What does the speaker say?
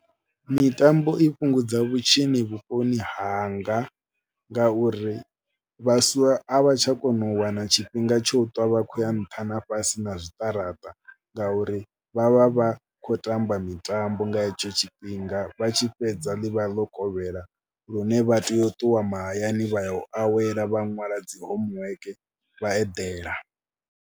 Mitambo i fhungudza vhutshinyi vhuponi hanga ngauri vhaswa a vha tsha kona u wana tshifhinga tsho ṱwa vha khou ya nṱha na fhasi na zwiṱaraṱa ngauri vha vha vha khou tamba mitambo nga hetsho tshifhinga. Vha tshi fhedza ḽi vha ḽo kovhela lune vha tea u ṱuwa mahayani vha ya u awela vha ṅwala dzi homework vha eḓela.